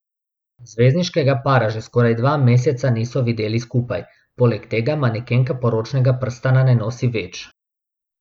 Zvezdniškega para že skoraj dva meseca niso videli skupaj, poleg tega manekenka poročnega prstana ne nosi več.